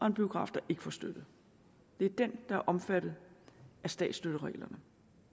en biograf der ikke får støtte er den der er omfattet af statsstøttereglerne